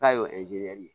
K'a ye o